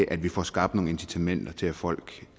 at vi får skabt nogle incitamenter til at folk